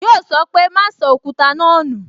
Yọ sọ pé "Ma sọ Òkúta náà nu